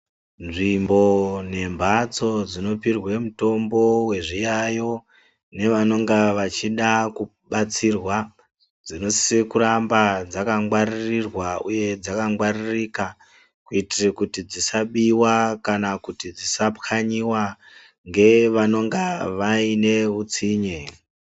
Nzvimbo nemphatso dzinopirwe mitombo wezviyaiyo, nevanonga vachida kubatsirwa, dzinosise kunga dzakangwaririrwa uye dzakangwaririka, kuitire kuti dzisabiwa kana kuti dzisapwanyiwa, ngevanenga vaine utsinye.